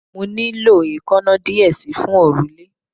Mo nilo eekanna diẹ sii fun orule